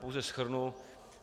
Pouze shrnu.